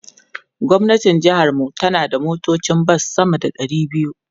Gwamnan jihar mu yana da motocin bas sama da ɗari biyu.